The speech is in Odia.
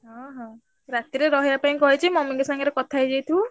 ହଁ ହଁ। ରାତି ରେ ରହିଆ ପାଇଁ କହିଛି mummy ଙ୍କ ସାଙ୍ଗରେ କଥା ହେଇଯାଇଥିବୁ।